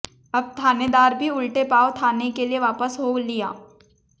अब थानेदार भी उल्टे पांव थाने के लिए वापस हो लिया